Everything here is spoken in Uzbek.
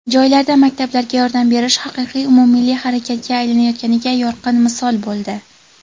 joylarda maktablarga yordam berish haqiqiy umummilliy harakatga aylanayotganiga yorqin misol bo‘ldi.